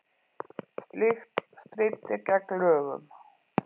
Slíkt stríddi gegn lögum